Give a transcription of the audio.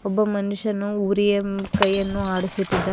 ಒಬ್ಬ ಮನುಷ್ಯನು ಉರಿಯಂ ಕೈ ಅನ್ನು ಹಾಡಿಸುತ್ತಿದ್ದಾನೆ.